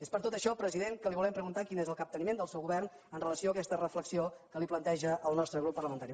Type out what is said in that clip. és per tot això president que li volem preguntar quin és el capteniment del seu govern amb relació a aquesta reflexió que li planteja el nostre grup parlamentari